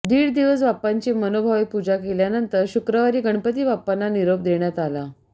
दीड दिवस बाप्पांची मनोभावे पूजा केल्यानंतर शुक्रवारी गणपती बाप्पांना निरोप देण्यात आला